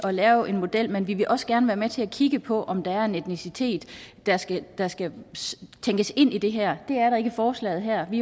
at lave en model men vi vil også gerne være med til at kigge på om der er en etnicitet der skal der skal tænkes ind i det her det er der ikke i forslaget her vi